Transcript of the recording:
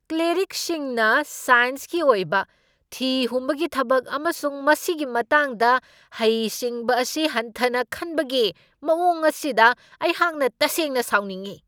ꯀ꯭ꯂꯦꯔꯤꯛꯁꯤꯡꯅ ꯁꯥꯏꯟꯁꯀꯤ ꯑꯣꯏꯕ ꯊꯤꯍꯨꯝꯕꯒꯤ ꯊꯕꯛ ꯑꯃꯁꯨꯡ ꯃꯁꯤꯒꯤ ꯃꯇꯥꯡꯗ ꯍꯩꯁꯤꯡꯕ ꯑꯁꯤ ꯍꯟꯊꯅ ꯈꯟꯕꯒꯤ ꯃꯋꯣꯡ ꯑꯁꯤꯗ ꯑꯩꯍꯥꯛꯅ ꯇꯁꯦꯡꯅ ꯁꯥꯎꯅꯤꯡꯢ ꯫